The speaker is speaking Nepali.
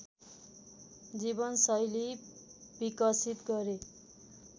जीवनशैली विकसित गरे